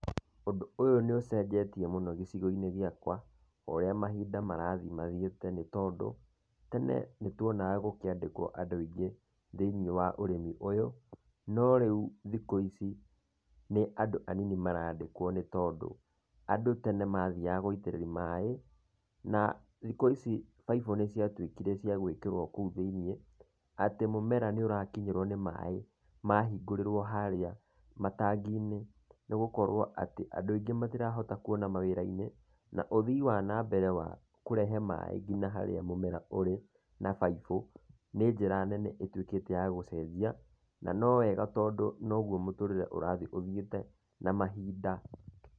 Ũndũ ũyũ nĩ ũcenjetie mũno gĩcigo-inĩ gĩakwa, o ũria mahinda marathiĩ mathiĩte nĩ tondũ, tene nĩ tuonaga gũkĩandĩkwo andũ aingĩ thĩiniĩ wa ũrĩmi ũyũ. No rĩu thikũ ici, nĩ andũ anini marandĩkwo nĩ tondũ andũ tene mathiaga gũitĩrĩria maĩ, na thikũ ici baibũ nĩ ciatuĩkire cia gũikĩrwo kũu thĩiniĩ, atĩ mũmera nĩ ũrakinyĩrwo nĩ maĩ mahingũrĩrwo harĩa matangi-inĩ, nĩ gũkorwo atĩ andũ aingĩ matirahota kuona kũu mawĩrai-inĩ, na ũthii wa nambere wa kũrehe maĩ nginya harĩa mũmera ũrĩ, na baibũ, nĩ njĩra nene ĩtuĩkĩte ya gũcenjia na tondũ noguo mũtũrĩre ũrathiĩ ũthiĩte na mahinda.